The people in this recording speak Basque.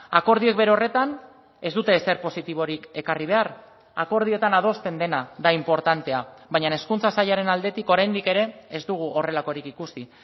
akordioak bere horretan ez dute ezer positiborik ekarri behar akordioetan adosten dena da inportantea baina hezkuntza sailaren aldetik oraindik ere ez dugu horrelakorik ikusi